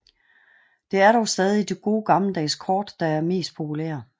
Det er dog stadig de gode gammeldags kort der er mest populære